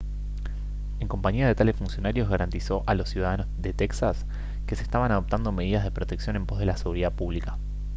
en compañía de tales funcionarios garantizó a los ciudadanos de texas que se estaban adoptando medidas de protección en pos de la seguridad pública